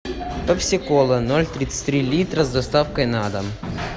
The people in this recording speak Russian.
пепси кола ноль тридцать три литра с доставкой на дом